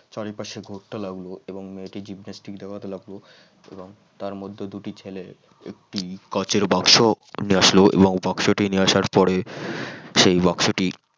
চারিপাশে ঘুরতে লাগলো এবং মেয়েটি Gymnastics দেখাতে লাগলো এবং তার মধ্যে দুটি ছেলে একটি কাঁচের বাক্স নিয়ে আসলো এবং বাক্সটি নিয়ে আসার পরে সেই বাক্সটি